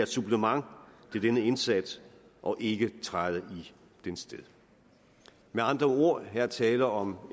supplement til denne indsats og ikke træde i dens sted med andre ord er der her tale om